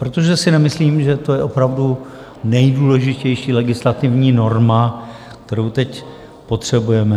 Protože si nemyslím, že to je opravdu nejdůležitější legislativní norma, kterou teď potřebujeme.